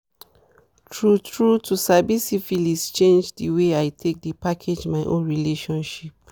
true true to sabi syphilis change the way i take dey package my own relationship